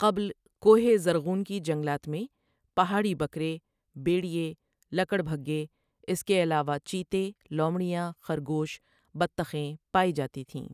قبل کوہ زرغون کی جنگلات میں پہاڑی بکرے بیڑئئے لکڑبھگے اس کے علاوہ چیتے لومڑیاں خرگوش بطخیں پائی جاتی تھیں۔